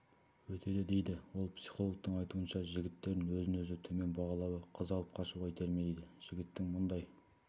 өтеді дейді ол психологтың айтуынша жігіттердің өзін-өзі төмен бағалауы қыз алып қашуға итермелейді жігіттің мұндай